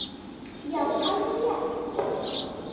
Já, alveg rétt hrópaði mamma.